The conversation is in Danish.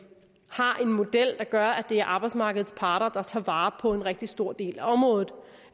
model der gør at det er arbejdsmarkedets parter der tager vare på en rigtig stor del af området